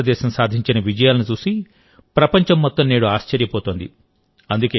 భారతదేశం సాధించిన విజయాలను చూసి ప్రపంచం మొత్తం నేడు ఆశ్చర్యపోతోంది